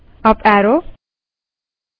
terminal पर जाएँ